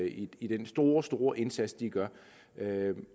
i i den store store indsats de gør